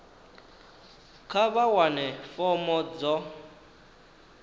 kha vha wane fomo dzo